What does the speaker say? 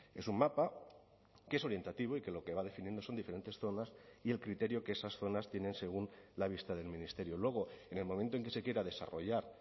es un mapa que es orientativo y que lo que va definiendo son diferentes zonas y el criterio que esas zonas tienen según la vista del ministerio luego en el momento en que se quiera desarrollar